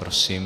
Prosím.